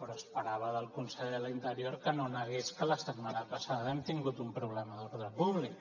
però esperava del conseller d’interior que no negués que la setmana passada hem tingut un problema d’ordre públic